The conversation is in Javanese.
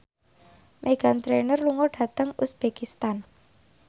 Meghan Trainor lunga dhateng uzbekistan